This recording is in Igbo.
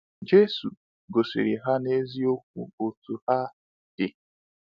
Jésù gosiri ha n’eziokwu otú ha dị!